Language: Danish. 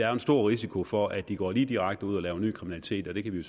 er en stor risiko for at de går lige direkte ud og laver ny kriminalitet og det kan vi